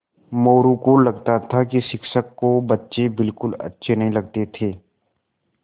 मोरू को लगता था कि शिक्षक को बच्चे बिलकुल अच्छे नहीं लगते थे